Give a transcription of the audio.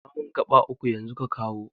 Auna mun gaɓa uku yanzu ka kawo